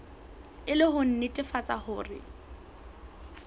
e le ho nnetefatsa hore